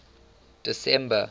december